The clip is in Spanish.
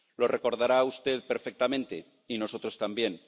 Lo recordará usted perfectamente, y nosotros también.